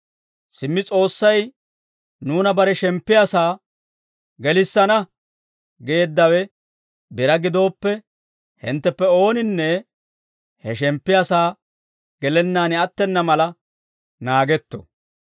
Simmi S'oossay nuuna bare shemppiyaa saa, «Gelissana» geeddawe biraa gidooppe, hintteppe ooninne he shemppiyaa sa'aa gelennaan attena mala naagetto.